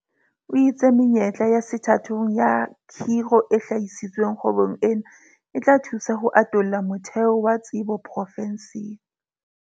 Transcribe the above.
O itse menyetla ya sethathong ya kgiro e hlahisitsweng kgwebong ena e tla thusa ho atolla motheo wa tsebo profenseng.